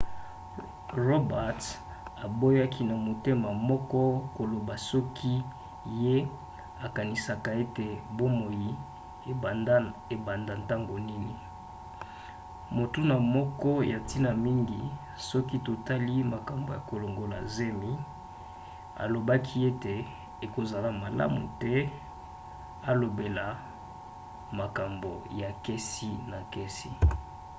roberts aboyaki na motema moko koloba soki ye akanisaka ete bomoi ebanda ntango nini motuna moko ya ntina mingi soki totali makambo ya kolongola zemi alobaki ete ekozala malamu te alobela makambo ya kesi na kesi